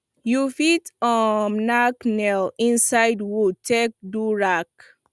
you fit um nack nails inside wood take do rake